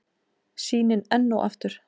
Sýnin enn og aftur.